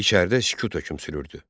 İçəridə sükut hökm sürürdü.